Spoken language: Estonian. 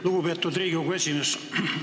Lugupeetud Riigikogu esimees!